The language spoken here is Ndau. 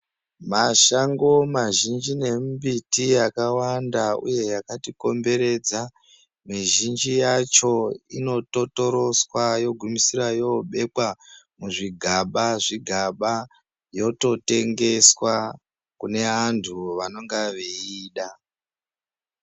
Mashango mazhinji nemimbiti yakawanda uye yakatikomberedza mizhinji yacho inototoroswa yogumisira yobekwa muzvigaba zvigaba yototengeswa kune vantu vanenge veiida.